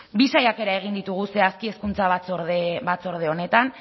bi saiakera egin ditugu zehazki hezkuntza batzorde honetan